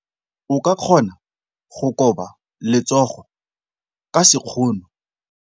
O ka kgona go koba letsogo ka sekgono.